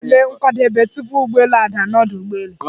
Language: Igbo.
A na-eme nkwadebe, tupu ụgbọelu a daa n'ọdu ụgbọelu.